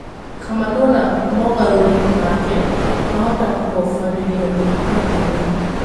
Kamanũna mogarũrĩ make mahota kũhobanĩrĩo nĩ mathĩna